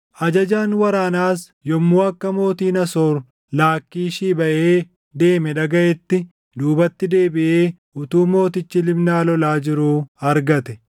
Ajajaan waraanaas yommuu akka mootiin Asoor Laakkiishii baʼee deeme dhagaʼetti, duubatti deebiʼee utuu mootichi Libnaa lolaa jiruu argate.